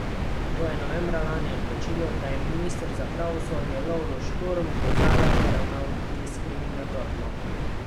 To je novembra lani odločilo, da je minister za pravosodje Lovro Šturm do Zalarja ravnal diskriminatorno.